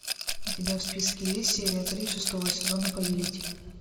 у тебя в списке есть серия три шестого сезона повелитель